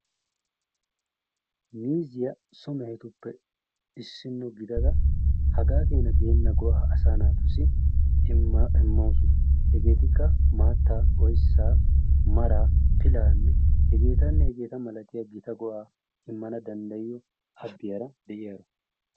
Miizziya so mehetuppe issino gidada hagaa keena geenna go"aa asaa naatussi immawus. Hegeetikka maattaa, oyssaa, maraa, pilaa, hegeetanne hegeeta malatiyaageta go"aa immana dandayiyaa haskiyaara de'iyaaro.